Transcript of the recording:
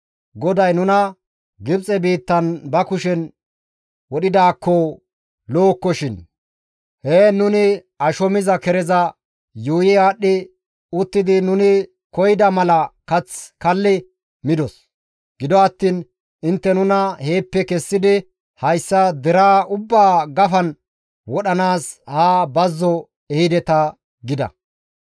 «GODAY nuna Gibxe biittan ba kushen wodhidaakko lo7okkoshin! Heen nuni asho miza kereza yuuyi aadhdhi uttidi nuni koyida mala kath kalli midos; gido attiin intte nuna heeppe kessidi hayssa deraa ubbaa gafan wodhanaas haa bazzo ehideta» gida.